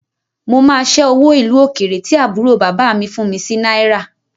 Mo máa ṣẹ́ owó ìlú òkèrè tí àbúrò bàbá mi fún mi sí náírà